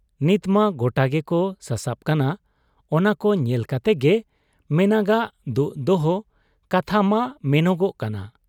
ᱱᱤᱛᱢᱟ ᱜᱚᱴᱟ ᱜᱮᱠᱚ ᱥᱟᱥᱟᱵ ᱠᱟᱱᱟ ᱾ ᱚᱱᱟᱠᱚ ᱧᱮᱞ ᱠᱟᱛᱮᱜᱮ ᱢᱮᱱᱟᱜᱟᱜ ᱫᱩᱜ ᱫᱚᱦᱚ ᱠᱟᱛᱷᱟ ᱢᱟ ᱢᱮᱱᱚᱜᱚᱜ ᱠᱟᱱᱟ ᱾